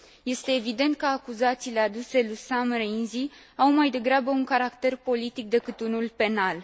Este evident că acuzațiile aduse lui Sam Rainsy au, mai degrabă, un caracter politic, decât unul penal.